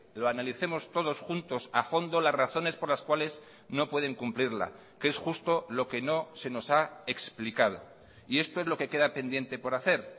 lo analicemos todos juntos a fondo las razones por las cuales no pueden cumplirla que es justo lo que no se nos ha explicado y esto es lo que queda pendiente por hacer